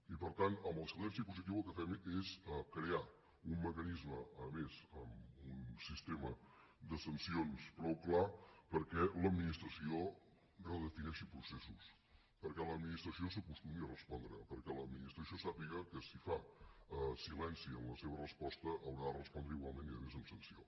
i per tant amb el silenci positiu el que fem és crear un mecanisme a més amb un sistema de sancions prou clar perquè l’administració redefineixi processos perquè l’administració s’acostumi a respondre perquè l’administració sàpiga que si fa silenci en la seva resposta haurà de respondre igualment i a més amb sanció